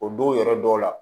O don yɔrɔ dɔw la